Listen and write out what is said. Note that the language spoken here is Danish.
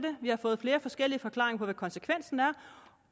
vi har fået flere forskellige forklaringer på hvad konsekvensen er